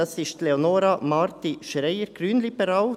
Es ist Leonora Marti-Schreier, grünliberal.